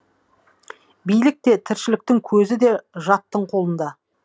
билік те тіршіліктің көзі де жаттың қолында